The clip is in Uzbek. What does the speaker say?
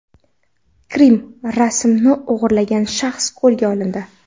Krim” rasmini o‘g‘irlagan shaxs qo‘lga olindi.